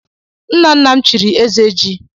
Nnanna m chiri Ezeji.